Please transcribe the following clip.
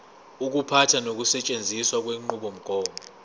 ukuphatha nokusetshenziswa kwenqubomgomo